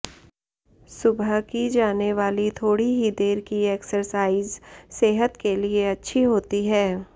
सुबह की जाने वाली थोड़ी ही देर की एक्सरसाइज सेहत के लिए अच्छी होती है